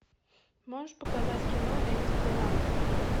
можешь показать кино энди теннанта